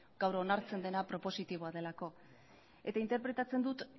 gaur onartzen dena propositiboa delako eta interpretatzen dut